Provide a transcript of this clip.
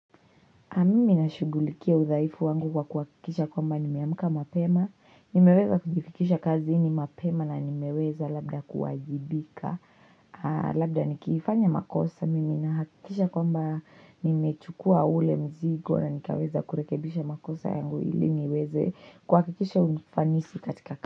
Mimi nashugulikia udhaifu wangu kwa kuhakikisha kwamba nimeamka mapema, nimeweza kujifikisha kazini mapema na nimeweza labda kuwajibika, labda nikifanya makosa, mimi nahakikisha kwamba nimechukua ule mzigo na nikaweza kurekebisha makosa yangu ili niweze kuhakikisha ufanisi katika kazi.